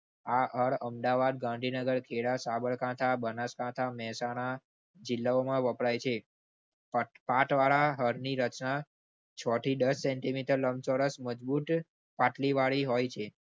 અર અમદાવાદ, ગાંધીનગર, ખેડા, સાબરકાંઠા, બનાસકાંઠા, મહેસાણા જિલ્લાઓમાં વપરાય છે. હળની રચના છ થી દસ centimeter લમ્છોચોરસ મજબૂત પાટલીવાળી હોય છે.